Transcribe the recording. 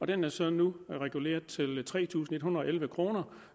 den er så nu reguleret til tre tusind en hundrede og elleve kr